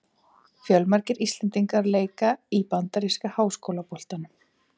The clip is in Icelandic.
Fjölmargir íslendingar leika í bandaríska háskólaboltanum.